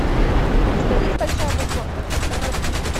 у тебя есть большая буква р